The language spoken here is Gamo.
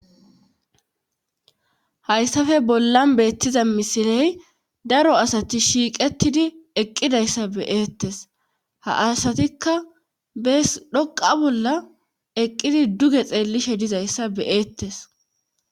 hayssafe bollan beettiza misiley daro asati shiiqettidi eqqidayssa be'ettes ha asatikka bees dhoqa bolla eqqidi duge xeellishe dizayssa be'ettes